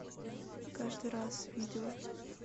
каждый раз видео